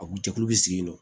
A kun jɛkulu bɛ sigi yen nɔ